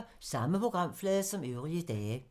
Samme programflade som øvrige dage